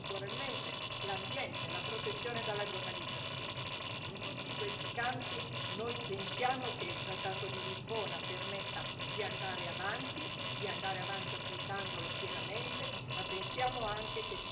In tutti questi campi noi pensiamo che il trattato di Lisbona permetta di andare avanti, di andare avanti applicandolo pienamente, ma pensiamo anche che siano possibili e necessarie modifiche ai trattati.